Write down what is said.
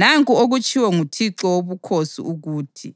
Nanku okutshiwo nguThixo Wobukhosi ukuthi: